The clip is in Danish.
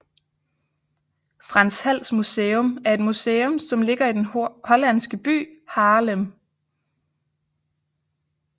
Frans Hals Museum er et museum som ligger i den hollandske by Haarlem